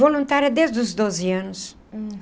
Voluntária desde os doze anos.